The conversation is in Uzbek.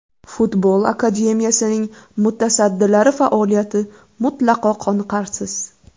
Futbol akademiyasining mutasaddilari faoliyati mutlaqo qoniqarsiz.